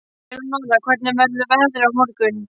Eleonora, hvernig verður veðrið á morgun?